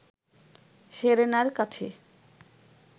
সেরেনার কাছে